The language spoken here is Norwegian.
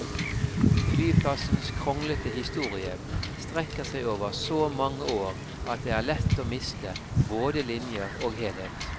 Flyplassens kronglete historie strekker seg over så mange år at det er lett å miste både linjer og helhet.